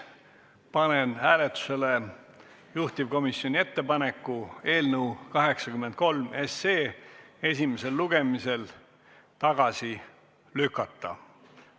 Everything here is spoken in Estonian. Panen hääletusele juhtivkomisjoni ettepaneku eelnõu 83 esimesel lugemisel tagasi lükata.